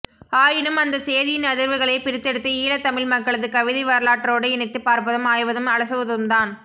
ஆயினும் அந்தச் சேதியின் அதிர்வுகளைப் பிரித்தெடுத்து ஈழத்தமிழ் மக்களது கவிதை வரலாற்றோடு இணைத்துப் பார்ப்பதும் ஆய்வதும் அலசுவதும்தான்